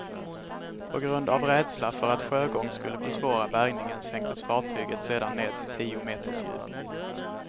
På grund av rädsla för att sjögång skulle försvåra bärgningen sänktes fartyget sedan ned till tio meters djup.